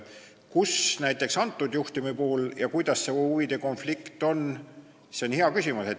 Kus ja kuidas näiteks antud juhtumi puhul see huvide konflikt on, see on hea küsimus.